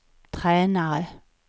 tränare